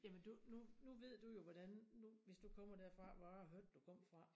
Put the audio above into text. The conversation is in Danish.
Jamen du nu nu ved du jo hvordan nu hvis du kommer derfra hvor jeg hørte du kommer fra